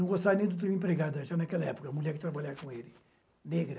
Não gostaria do termo empregada, já naquela época, mulher que trabalhava com ele, negra.